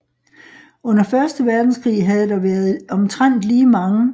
Under første verdenskrig havde der været omtrent lige mange